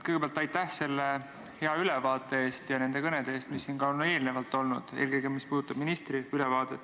Kõigepealt aitäh selle hea ülevaate eest ja nende kõnede eest, mis siin on peetud, eelkõige selle eest, mis puudutab ministri ülevaadet!